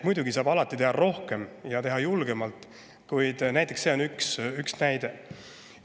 Muidugi saab alati teha rohkem ja teha julgemalt, kuid see on üks näide.